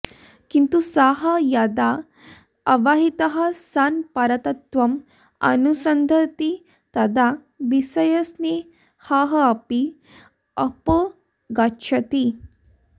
किन्तु सः यदा अवहितः सन् परतत्त्वम् अनुसन्दधाति तदा विषयस्नेहोऽपि अपगच्छति